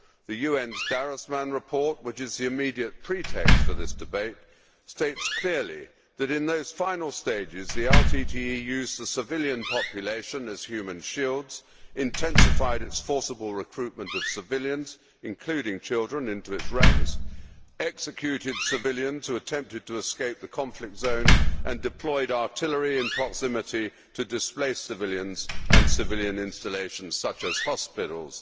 The UN's Darusman report, which is the immediate pretext for this debate, states clearly that in those final stages, the LTTE used the civilian population as human shields, intensified the forcible recruitment of civilians, including children, into its ranks, executed civilians who attempted to escape the conflict zone and deployed artillery in proximity to displaced civilians and civilian installations such as hospitals.